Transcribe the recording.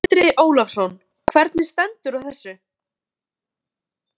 Stundum var hægt að leysa úr húsnæðisvandræðum fólks.